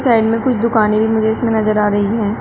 Side में कुछ दुकाने भी मुझे इसमे नजर आ रही हैं।